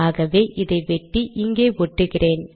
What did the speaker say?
ஆகவே இதை வெட்டி இங்கே ஒட்டுகிறேன்